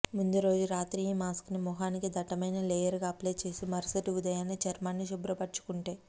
ముందురోజు రాత్రి ఈ మాస్క్ ని ముఖానికి దట్టమైన లేయర్ గా అప్లై చేసి మరుసటి ఉదయాన్నే చర్మాన్ని శుభ్రపరచుకుంటే